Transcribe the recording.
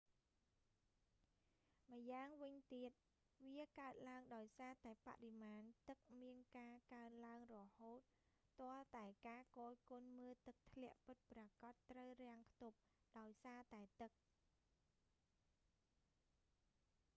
ម្យ៉ាងវិញទៀត វាកើតឡើងដោយសារតែបរិមាណទឹកមានការកើនឡើងរហូតទាល់តែការគយគន់មើលទឹកធ្លាក់ពិតប្រាកដត្រូវរាំងខ្ទប់ ដោយសារតែទឹក